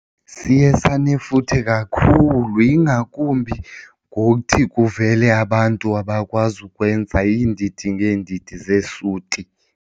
Siye sanefuthe kakhulu ingakumbi ngokuthi kuvele abantu abakwazi ukwenza iindidi ngeendidi zeesuti.